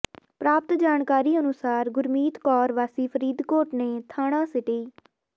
ਪ੍ਰਾਪਤ ਜਾਣਕਾਰੀ ਅਨੁਸਾਰ ਗੁਰਮੀਤ ਕੌਰ ਵਾਸੀ ਫ਼ਰੀਦਕੋਟ ਨੇ ਥਾਣਾ ਸਿਟੀ